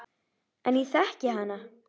En ég þekki hana.